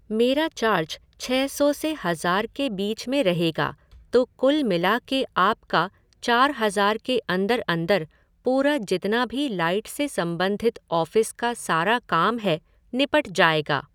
मेरा चार्ज छ सौ से हज़ार के बीच में रहेगा तो कुल मिला के आपका चार हज़ार के अंदर अंदर पूरा जितना भी लाइट से सम्बंधित ऑफ़िस का सारा काम है, निपट जाएगा।